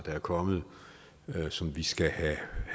er kommet og som vi skal have